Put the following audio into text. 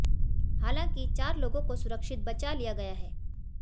हालांकि चार लोगों को सुरक्षित बचा लिया गया है